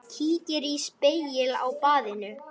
Kíkir í spegil á baðinu.